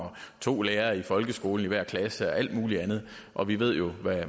to lærere i folkeskolen i hver klasse og alt muligt andet og vi ved jo